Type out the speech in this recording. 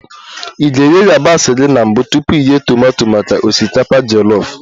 Ị ga-eghe yabasị gị na mbụ tupu ị ghee tomato maka osikapa jolof